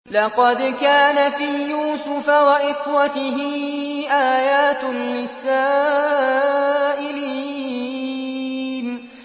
۞ لَّقَدْ كَانَ فِي يُوسُفَ وَإِخْوَتِهِ آيَاتٌ لِّلسَّائِلِينَ